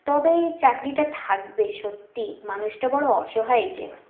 তবে চাকরিটা থাকবে সত্যি মানুষটা বড়ো অসহায় যে